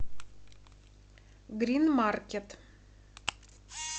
грин маркет